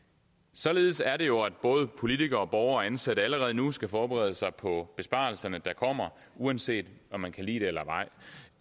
således er det jo at både politikere og borgere og ansatte allerede nu skal forberede sig på besparelserne der kommer uanset om man kan lide det eller ej